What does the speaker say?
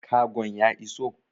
Kagon ya iso?